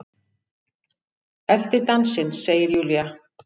Eftir dansinn, segir Júlía.